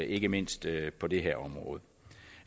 ikke mindst på det her område